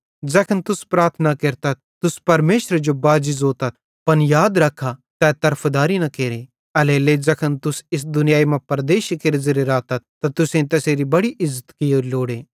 ज़ैखन तुस प्रार्थना केरतथ तुस परमेशरे जो बाजी ज़ोतथ पन याद रख्खा तै तरफदारी न केरे एल्हेरेलेइ ज़ैखन तुस इस दुनियाई मां परदेशी केरे ज़ेरे रातथ त तुसेईं तैसेरी बड़ी इज़्ज़त कियोरी लोड़े